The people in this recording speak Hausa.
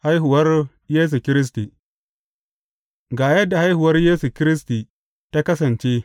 Haihuwar Yesu Kiristi Ga yadda haihuwar Yesu Kiristi ta kasance.